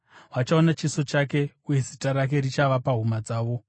Vachaona chiso chake, uye zita rake richava pahuma dzavo.